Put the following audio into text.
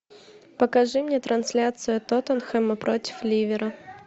покажи мне трансляцию тоттенхэма против ливера